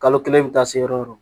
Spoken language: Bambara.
Kalo kelen i bi taa se yɔrɔ o yɔrɔ